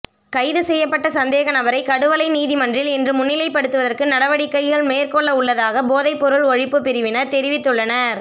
கைது செய்யப்பட்ட சந்தேகநபரை கடுவலை நீதிமன்றில் இன்று முன்னிலைப்படுத்துவதற்கு நடவடிக்கைகள் மேற்கொள்ளவுள்ளதாக போதைப்பொருள் ஒழிப்பு பிரிவினர் தெரிவித்துள்ளனர்